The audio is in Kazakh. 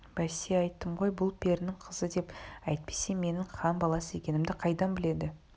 бәсе айттым ғой бұл перінің қызы деп әйтпесе менің хан баласы екенімді қайдан біледі